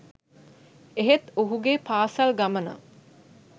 එහෙත් ඔහුගේ පාසැල් ගමන